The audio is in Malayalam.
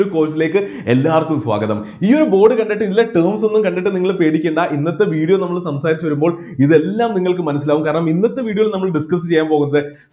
board ലേക്ക് എല്ലാവർക്കും സ്വാഗതം ഈ ഒരു board കണ്ടിട്ട് ഇതിലെ terms എല്ലാം കണ്ടിട്ട് നിങ്ങൾ പേടിക്കണ്ട ഇന്നത്തെ video ൽ നമ്മൾ സംസാരിച്ചു വരുമ്പോൾ ഇതെല്ലാം നിങ്ങൾക്ക് മനസ്സിലാവും കാരണം ഇന്നത്തെ video ൽ നമ്മൾ discuss ചെയ്യാൻ പോകുന്നത്